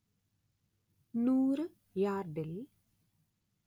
നൂറ് യാർഡിൽ